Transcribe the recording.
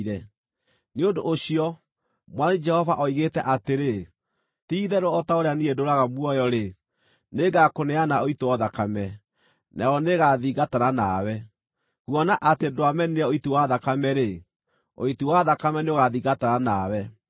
nĩ ũndũ ũcio, Mwathani Jehova oigĩte atĩrĩ, ti-itherũ o ta ũrĩa niĩ ndũũraga muoyo-rĩ, nĩngakũneana ũitwo thakame, nayo nĩĩgathingatana nawe. Kuona atĩ ndwamenire ũiti wa thakame-rĩ, ũiti wa thakame nĩũgaathingatana nawe.